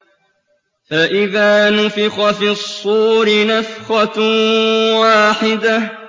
فَإِذَا نُفِخَ فِي الصُّورِ نَفْخَةٌ وَاحِدَةٌ